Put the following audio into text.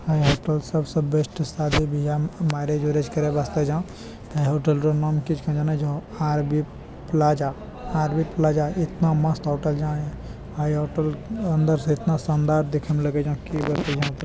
अ यहाँ पर सब स बेस्ट शादी-बिहा म मेरेज - उरेज करे वास्ते छों । है हौटल रो नाम कि छको जाने छौ आर_बी_ प्लाजा । आर_बी_प्लाजा इतना मस्त हौटल जै है हौटल अंदर से एतना शानदार देखेम लगै छों की बतइयो त--